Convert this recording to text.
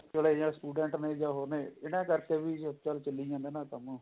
ਵਾਲੇ student ਨੇ ਜਾ ਹੋਰ ਇਹਨਾ ਕਰਕੇ ਵੀ ਜਿਸ ਨਾਲ ਚੱਲੀ ਜਾਂਦਾ ਨਾ ਕੰਮ